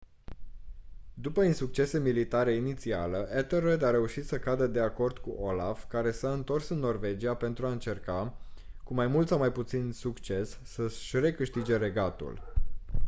după insuccese militare inițiale ethelred a reușit să cadă de acord cu olaf care s-a întors în norvegia pentru a încerca cu mai mult sau mai puțin succes să-și recâștige regatul